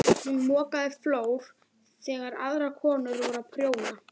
Hún mokaði flór þegar aðrar konur voru að prjóna.